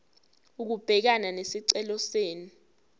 ukubhekana nesicelo senu